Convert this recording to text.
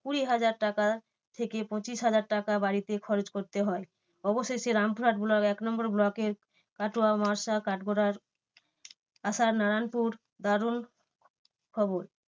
কুড়ি হাজার টাকা থেকে পঁচিশ হাজার টাকা বাড়তি খরচ করতে হয়। অবশেষে রামপুরহাট block এক নম্বর block এর আশা নারায়ণপুর দারুন খবর।